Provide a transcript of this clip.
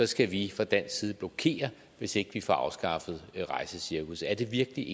skal vi fra dansk side blokere hvis ikke vi får afskaffet rejsecirkusset er det virkelig